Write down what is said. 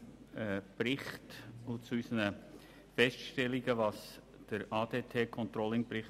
Zuerst vielen Dank für die grundsätzlich gute Aufnahme unserer Feststellungen betreffend den ADT-ControllingBericht.